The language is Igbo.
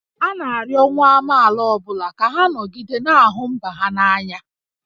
A na-arịọ nwa amaala ọ bụla ka ha nọgide na-ahụ mba ha n'anya